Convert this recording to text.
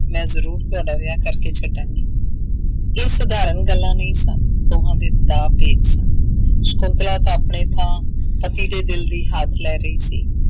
ਮੈਂ ਜ਼ਰੂਰ ਤੁਹਾਡਾ ਵਿਆਹ ਕਰਕੇ ਛੱਡਾਂਗੀ, ਇਹ ਸਧਾਰਨ ਗੱਲਾਂ ਨਹੀਂ ਸਨ, ਦੋਹਾਂ ਦੇ ਦਾਅ ਪੇਚ ਸਨ, ਸਕੁੰਤਲਾ ਤਾਂ ਆਪਣੇ ਥਾਂ ਪਤੀ ਦੇ ਦਿਲ ਦੀ ਲੈ ਰਹੀ ਸੀ